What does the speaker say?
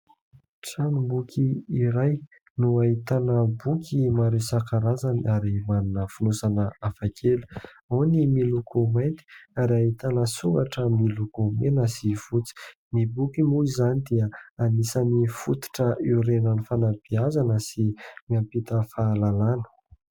Tranom-boky iray no ahitana boky maro isan-karazany ary manana fonosana hafakely. Ao ny miloko mainty ary ahitana soratra miloko mena sy fotsy. Ny boky moa izany dia anisan'ny fototra iorenan'ny sy mampita fahalalàna.